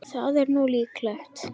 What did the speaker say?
Það er nú líklega.